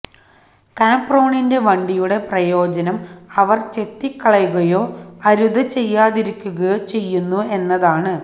കാപ്രോണിന്റെ വണ്ടിയുടെ പ്രയോജനം അവർ ചെത്തിക്കളയുകയോ അരുത് ചെയ്യാതിരിക്കുകയോ ചെയ്യുന്നു എന്നതാണ്